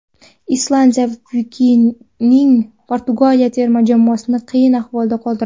Islandiya vikinglari Portugaliya terma jamoasini qiyin ahvolda qoldirdi.